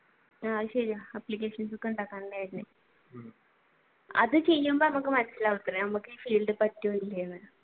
അത് ശരിയാ applications ഉണ്ടാക്കാൻ തന്നെ അത് ശരിക്കും പറഞ്ഞ മനസിലാവും നമുക്ക് ഈ field പറ്റുമോ ഇല്ലയോ എന്ന്